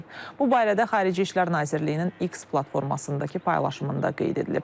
Bu barədə Xarici İşlər Nazirliyinin X platformasındakı paylaşımında qeyd edilib.